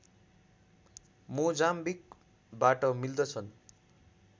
मोजाम्बिकबाट मिल्दछन्